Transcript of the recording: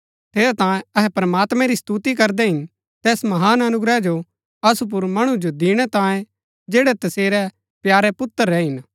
ठेरैतांये अहै प्रमात्मैं री स्तुति करदै हिन तैस महान अनुग्रह जो असु मणु जो दिणै तांये जैड़ै तसेरै प्यारे पुत्र रै हिन